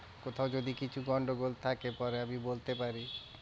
কোথায় যদি কিছু গন্ডগোল থাকে পরে আমি বলতে পারি।